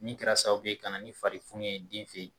Min kɛra sababu ye ka na ni farifunu ye den fɛ ye.